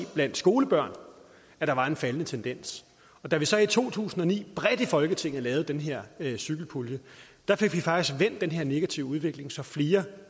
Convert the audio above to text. blandt skolebørn at der var en faldende tendens da vi så i to tusind og ni bredt i folketinget lavede den her cykelpulje fik vi faktisk vendt den her negative udvikling så flere